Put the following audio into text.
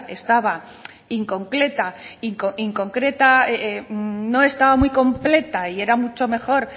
estaba incompleta inconcreta no estaba muy completa y era mucho mejor